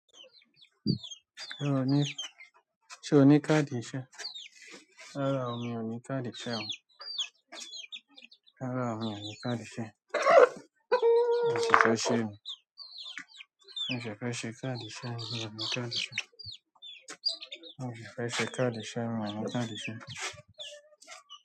Ṣé o ní, ṣe o ní káàdì iṣẹ́? Rárá o, mi ò ní káàdì iṣẹ́ o. Rárá o, mi ò ní káàdì iṣẹ́. Òṣìṣẹ́ iṣẹ́ ni. Mo ṣẹ̀ fẹ́ẹ́ ṣe káàdì iṣẹ́ ni, mí ò ní káàdì iṣẹ́ òṣìṣẹ́ iṣẹ́ káàdì iṣẹ́, rárá mo ní káàdì iṣẹ́.